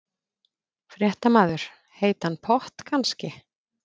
Fréttamaður: Heitan pott kannski?